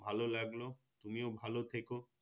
ভালো লাগলো তুমিও ভালো থেকো